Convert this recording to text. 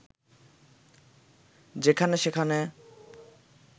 যেখানে সেখানে